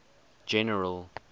general